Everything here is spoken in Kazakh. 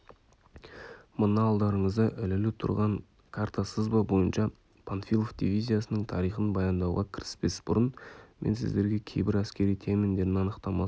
мына алдарыңызда ілулі тұрған карта-сызба бойынша панфилов дивизиясының тарихын баяндауға кіріспес бұрын мен сіздерге кейбір әскери терминдердің анықтамасын